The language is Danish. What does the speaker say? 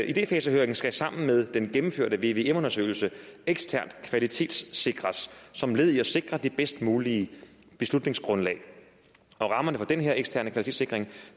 idefasehøringen skal sammen med den gennemførte vvm undersøgelse eksternt kvalitetssikres som led i at sikre det bedst mulige beslutningsgrundlag og rammerne for den her eksterne kvalitetssikring